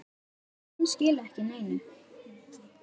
Sum skila ekki neinu.